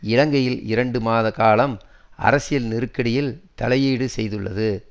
இலங்கையின் இரண்டு மாத காலம் அரசியல் நெருக்கடியில் தலையீடு செய்துள்ளது